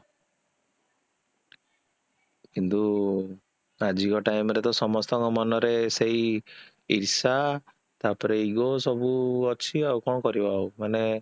କିନ୍ତୁ ତା ଝିଅ time ରେ ତ ସମସ୍ତଙ୍କ ମନରେ ସେଇ ଈର୍ଷା ତାପରେ ego ସବୁ ଅଛିଆଉ କଣ କରିବା ଆଉ ମାନେ